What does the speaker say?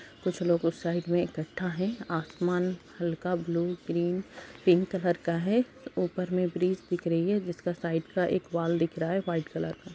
कुछ लोग उस साइड में इकट्ठा हैं। आसमान हल्का ब्लू ग्रीन पिंक कलर का है ऊपर में ब्रिज दिख रही है जिसका साइड का एक वॉल दिख रहा है वाइट कलर का।